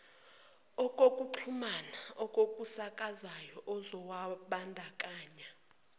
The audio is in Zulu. okokuxhumana okusakazwayo uzawubandakanya